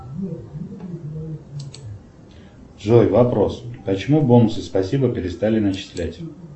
джой вопрос почему бонусы спасибо перестали начислять